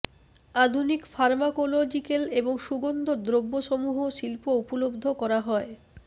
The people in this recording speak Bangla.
আধুনিক ফার্মাকোলজিকাল এবং সুগন্ধ দ্রব্যসমূহ শিল্প উপলব্ধ করা হয়